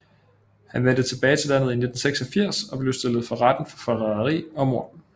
Han vendte tilbage til landet i 1986 og blev stillet for retten for forræderi og mord